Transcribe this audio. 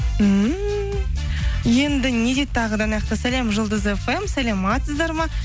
ммм енді не дейді тағы да мынаяқта сәлем жұлдыз фм саламатсыздар ма